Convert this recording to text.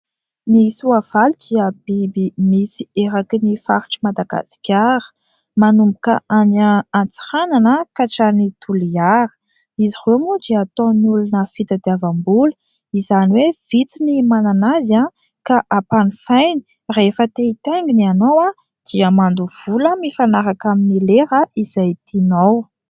Ny soavaly dia biby misy eraky ny faritr'i Madagasikara, manomboka any Antsiranana ka hatrany Toliara. Izy ireo moa dia ataon'ny olona fitadiavam-bola. Izany hoe vitsy ny manana azy ka ampanofainy. Rehefa te hitaingina ianao dia mandoha vola mifanaraka amin'ny lera izay tianao.